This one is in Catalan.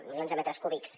milions de metres cúbics